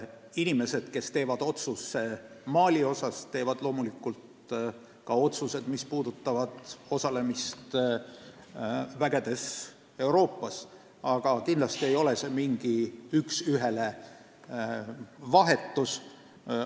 Inimesed, kes teevad Malit puudutava otsuse, teevad loomulikult ka otsused, mis puudutavad osalemist Euroopa üksustes, aga kindlasti ei ole tegu mingi üks ühele vahetusega.